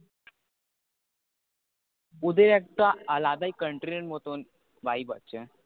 ওদের একটা আলাদাই country এর মতো vibe আছে